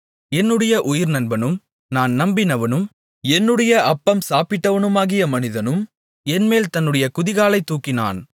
என்னுடைய உயிர்நண்பனும் நான் நம்பினவனும் என்னுடைய அப்பம் சாப்பிட்டவனுமாகிய மனிதனும் என்மேல் தன்னுடைய குதிகாலைத் தூக்கினான்